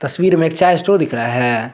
तस्वीर में एक चाय स्टोर दिख रहा है।